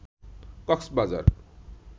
Cox's Bazar